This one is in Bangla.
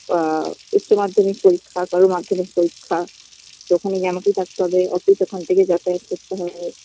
বা উচ্চ মাধ্যমিক পরীক্ষা কারোর মাধ্যমিক পরীক্ষা ওখানে গিয়ে আমাকে থাকতে হবে office ওখান থেকে যাতায়াত করতে হবে